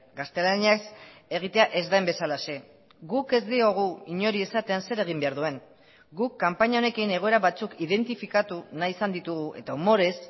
gaztelaniaz egitea ez den bezalaxe guk ez diogu inori esaten zer egin behar duen guk kanpaina honekin egoera batzuk identifikatu nahi izan ditugu eta umorez